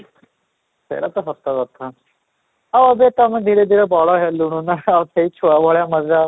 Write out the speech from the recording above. ସେଇଟା ତ ସତକଥା ଆଉ ଏବେ ତ ଆମେ ଧୀରେ ଧୀରେ ବଡ ହେଲୁଣୁ ନା ସେ ଛୁଆବେଳେ ମଜା